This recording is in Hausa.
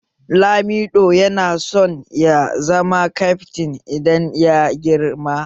Lamido yana son ya zama kyaftin idan ya girma